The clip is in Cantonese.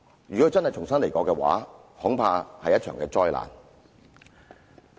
如果想要重新得到的話，恐怕是一場災難。